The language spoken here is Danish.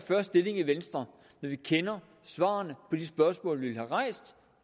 stilling i venstre når vi kender svarene på de spørgsmål vi vil have rejst